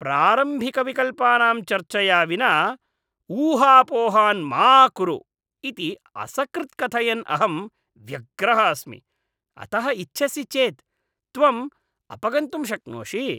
प्रारम्भिकविकल्पानां चर्चया विना ऊहापोहान् मा कुरु इति असकृत् कथयन् अहं व्यग्रः अस्मि, अतः इच्छसि चेत् त्वम् अपगन्तुं शक्नोषि।